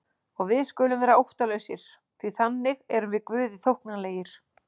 Og við skulum vera óttalausir því þannig erum við Guði þóknanlegir.